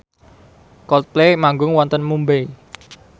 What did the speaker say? Coldplay manggung wonten Mumbai